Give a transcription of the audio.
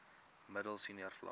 middel senior vlak